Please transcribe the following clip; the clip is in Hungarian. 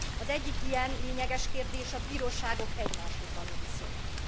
Az egyik ilyen lényeges kérdés a bíróságok egymáshoz való viszonya.